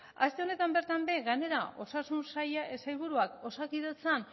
aste honetan bertan ere gainera osasun saila sailburuak osakidetzan